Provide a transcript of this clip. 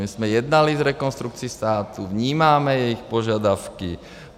My jsme jednali s Rekonstrukcí státu, vnímáme jejich požadavky.